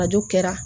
Arajo kɛra